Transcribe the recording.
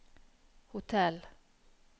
hotell